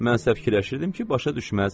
Mən isə fikirləşirdim ki, başa düşməz.